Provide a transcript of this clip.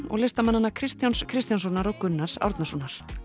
og listamanna Kristjáns Kristjánssonar og Gunnars Árnasonar